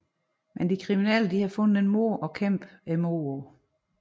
Men de kriminelle har fundet en måde at kæmpe imod på